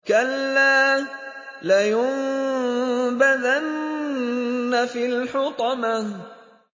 كَلَّا ۖ لَيُنبَذَنَّ فِي الْحُطَمَةِ